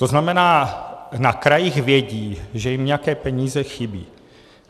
To znamená, na krajích vědí, že jim nějaké peníze chybí.